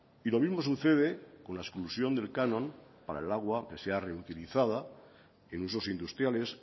y lo mismo sucede con la exclusión del canon para el agua que sea reutilizada en usos industriales